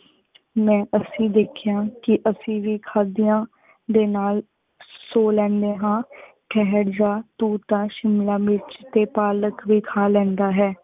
ਮੈ ਅਸੀਂ ਦੇਖੀਆਂ ਕੀ ਅਸੀਂ ਵੀ ਖਾਦਿਯਾਂ ਦੇ ਨਾਲ ਸੋ ਲੇੰਡੇ ਹਨ। ਠੇਹਰ ਜਾ ਤੂ ਤਾ ਸ਼ਿਮਲਾ ਮਿਰਚ ਟੀ ਪਾਲਕ ਵੇ ਖਾ ਲੇੰਦਾ ਹੈ।